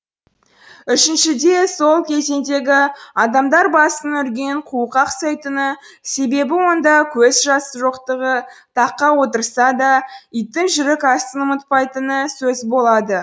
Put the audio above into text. үшіншіде сол кезеңдегі адамдар басының үрген қуыққа ұқсайтыны себебі онда көз жасы жоқтығы таққа отырса да иттің жерік асын ұмытпайтыны сөз болады